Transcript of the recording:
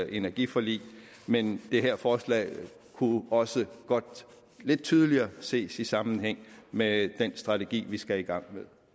energiforlig men det her forslag kunne også godt lidt tydeligere ses i sammenhæng med den strategi vi skal i gang